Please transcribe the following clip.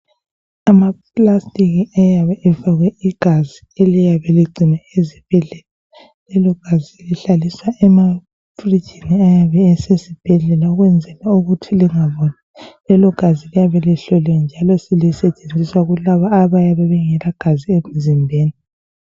Amaplastiki ayabe efakwe igazi eliyabe ligcinwe ezibhedlela. Lelogazi selihlaliswa emafrijini ayabe esesibhedlela ukwenzela ukuthi lingaboli. Lelogazi liyabe lihloliwe njalo lisetshenziswa kulabo abayabe bengelagazi emzimbeni.